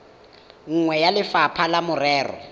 nngwe ya lefapha la merero